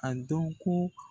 A dɔn ko